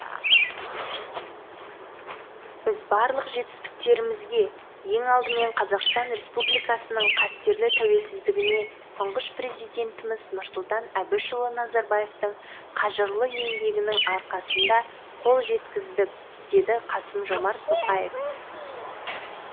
біз барлық жетістіктерімізге ең алдымен қазақстан республикасының қастерлі тәуелсіздігіне тұңғыш президентіміз нұрсұлтан әбішұлы назарбаевтың қажырлы еңбегінің арқасында қол жеткіздік деді қасым жомарт тоқаев